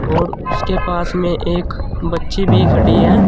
और उसके पास में एक बच्ची भी खड़ी है।